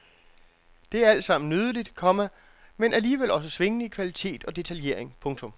Det er alt sammen nydeligt, komma men alligevel også svingende i kvalitet og detaljering. punktum